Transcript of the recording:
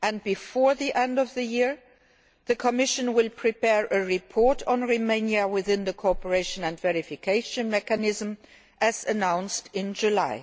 Before the end of the year the Commission will prepare a report on Romania within the cooperation and verification mechanism, as announced in July.